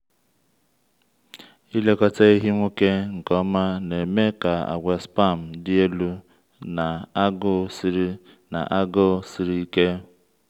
ịlekọta ehi nwoke nke ọma na-eme ka àgwà sperm dị elu na agụụ siri na agụụ siri ike.